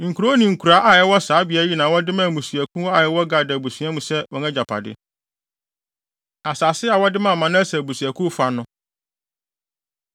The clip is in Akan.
Nkurow ne nkuraa a ɛwɔ saa beae yi na wɔde maa mmusua a ɛwɔ Gad abusuakuw mu sɛ wɔn agyapade. Asase A Wɔde Maa Manase Abusuakuw Fa No